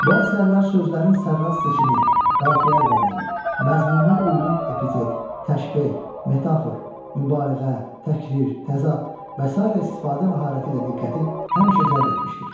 Bu əsərlər sözlərin sərrast seçimi, qafiyə əlvanlığı, məzmuna uyğun epitet, təşbeh, metafor, mübaliğə, təkrar, təzad və sairə istifadə məharəti ilə diqqəti həmişə cəlb etmişdir.